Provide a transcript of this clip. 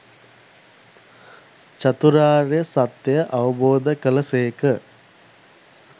චතුරාර්ය සත්‍යය අවබෝධ කළ සේක.